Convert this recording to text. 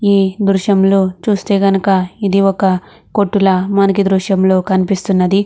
ఈ దృశ్యం చూస్తే కనుక ఇది ఒక కొట్టు ల ఈ దృశ్యం లో కనిపిస్తున్నది.